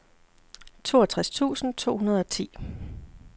toogtres tusind to hundrede og ti